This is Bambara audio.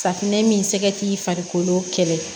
Safunɛ min sɛgɛ k'i farikolo kɛlɛ